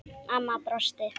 Amma brosti.